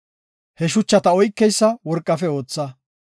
He shuchata oykeysa worqafe ootha.